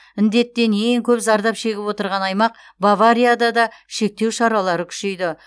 індеттен ең көп зардап шегіп отырған аймақ баварияда да шектеу шаралары күшейді